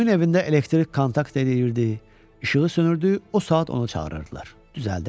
Kimin evində elektrik kontakt eləyirdi, işığı sönürdü, o saat onu çağırırdılar, düzəldirdi.